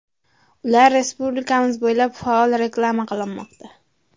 Ular respublikamiz bo‘ylab faol reklama qilinmoqda.